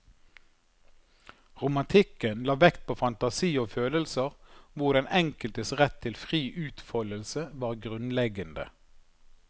Romantikken la vekt på fantasi og følelser, hvor den enkeltes rett til fri utfoldelse var grunnleggende.